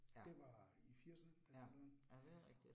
Ja. Ja, ja det rigtigt